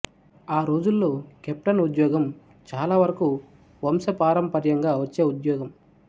ఆ రోజుల్లో కెప్టెన్ ఉద్యోగం చాల వరకు వంశపారంపర్యంగా వచ్చే ఉద్యోగం